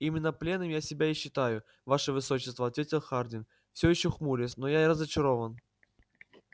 именно пленным я себя и считаю ваше высочество ответил хардйн всё ещё хмурясь но я разочарован